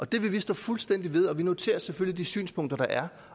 det vil vi stå fuldstændig ved vi noterer selvfølgelig de synspunkter der er